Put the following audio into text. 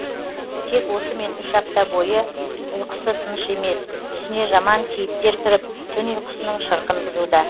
тек осымен үш апта бойы ұйқысы тыныш емес түсіне жаман кейіптер кіріп түн ұйқысының шырқын бұзуда